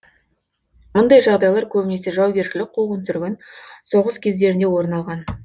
мұндай жағдайлар көбінесе жаугершілік қуғын сүргін соғыс кездерінде орын алған